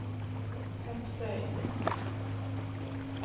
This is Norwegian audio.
Hepsøy